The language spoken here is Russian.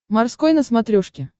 морской на смотрешке